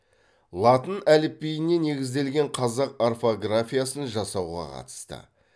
латын әліпбиіне негізделген қазақ орфографиясын жасауға қатысты